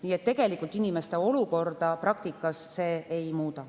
Nii et inimeste olukorda praktikas see tegelikult ei muuda.